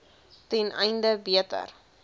ten einde beter